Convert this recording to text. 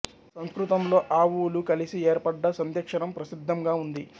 సంస్కృతంలో అ ఉ లు కలిసి ఏర్పడ్డ సంధ్యక్షరం ప్రసిద్ధంగా ఉంది